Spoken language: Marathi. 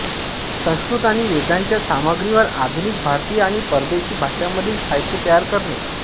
संस्कृत आणि वेदांच्या सामग्रीवर आधुनिक भारतीय आणि परदेशी भाषांमधील साहित्य तयार करणे